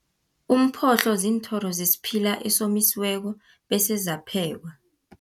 Umphohlo ziinthoro zesiphila esomisiweko, bese zaphekwa.